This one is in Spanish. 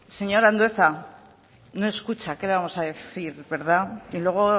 señor andueza no escucha qué le vamos a decir y luego